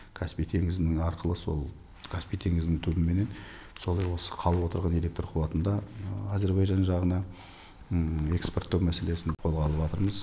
каспий теңізінің арқылы сол каспий теңізінің түбімен солай осы қалып отырған электр қуатын да әзербайжан жағына экспорттау мәселесін қолға алыватырмыз